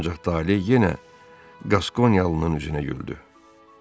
Ancaq taley yenə Qaskonyalının üzünə güldü.